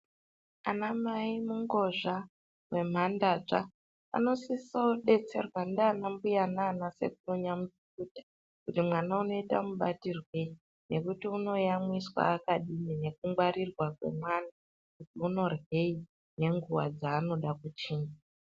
Anamai mungozha nemhandadza anosiseawo kudetserwa ndiana mbuya nanasekuru nyamukuta kuti mwana unoite mubatirwei nekuti unoyamwiswa akadini nekungwarirwa kwemwana kuti unoryei nenguwa dzeanoda kuchinja.